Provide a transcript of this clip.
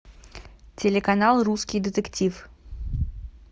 телеканал русский детектив